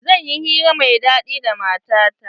Zan yi hira mai daɗi da matata.